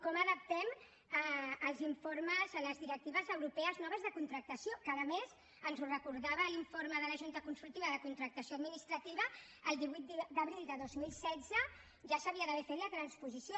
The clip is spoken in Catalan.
com adaptem els informes a les directives europees noves de contractació que a més ens ho recordava l’informe de la junta consultiva de contractació administrativa el divuit d’abril de dos mil setze ja se n’havia d’haver fet la transposició